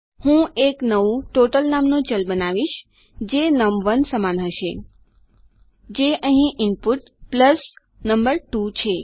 હું એક નવું ટોટલ નામનું ચલ બનાવીશ જે નમ1 સમાન હશે જે અહીં ઈનપુટ પ્લસ નમ2 છે